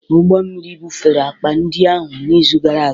Ụgbọ mmiri bufere akpa ndị ahụ n'izu gara aga